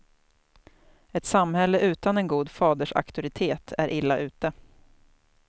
Ett samhälle utan en god fadersauktoritet är illa ute.